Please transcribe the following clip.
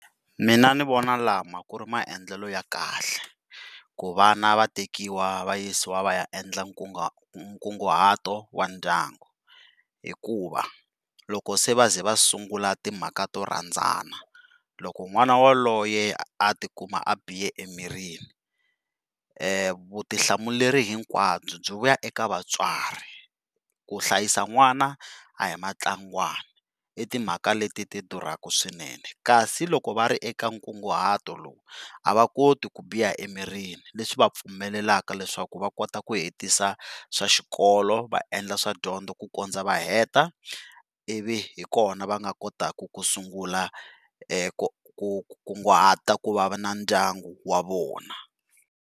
Mina ni vona lama ku ri maendlelo ya kahle ku vana va tekiwa va yisiwa va ya endla nkunguhato wa ndyangu hikuva loko se va ze va sungula timhaka to rhandzana loko n'wana yaloye a tikuma a bihe emirini vutihlamuleri hinkwabyo byi vuya eka vatswari, ku hlayisa n'wana a hi matlangwana, i timhaka leti ti durhaka swinene kasi loko va ri eka nkunguhato lowu a va koti ku biha emirini leswi va pfumelelaka leswaku va kota ku hetisa swa xikolo va endla swa dyondzo swa dyondzo ku kondza va heta ivi hikona va nga kotaka ku sungula ku kunguhata ku va na ndyangu wa vona.